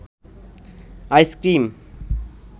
ice cream